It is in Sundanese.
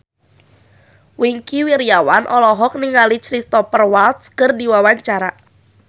Wingky Wiryawan olohok ningali Cristhoper Waltz keur diwawancara